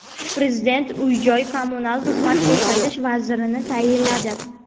Prezident uy-joy kommunal xizmat ko‘rsatish vazirini tayinladi.